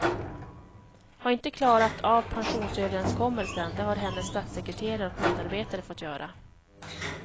Har inte klarat av pensionsöverenskommelsen, det har hennes statssekreterare och medarbetare fått göra.